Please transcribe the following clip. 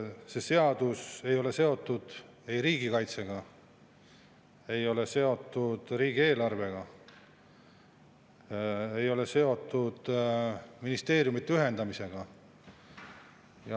See seadus ei ole seotud riigikaitsega, ei ole seotud riigieelarvega, ei ole seotud ministeeriumide ühendamisega.